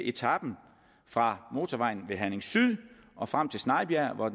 etapen fra motorvejen ved herning syd og frem til snejbjerg hvor